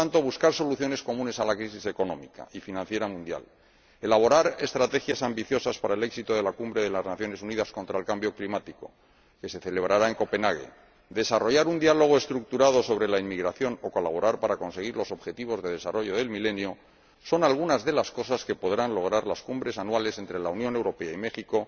Por lo tanto, buscar soluciones comunes a la crisis económica y financiera mundial, elaborar estrategias ambiciosas para el éxito de la Conferencia de las Naciones Unidas sobre el Cambio Climático, que se celebrará en Copenhague, desarrollar un diálogo estructurado sobre la inmigración o colaborar para conseguir los Objetivos de Desarrollo del Milenio, son algunas de las cosas que podrán lograr las cumbres anuales entre la Unión Europea y México,